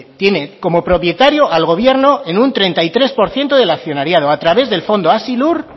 tiene como propietario al gobierno en un treinta y tres por ciento del accionariado a través del fondo hazilur